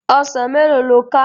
Òsán méló ló ká?